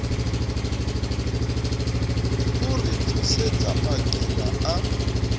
o re tsosetsa maqeba a